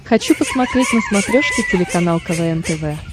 хочу посмотреть на смотрешке телеканал квн тв